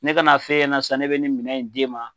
Ne ka n'a f'e ɲɛna n san, ne bɛ nin minɛ in di e ma.